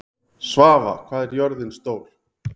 Svava, hvað er jörðin stór?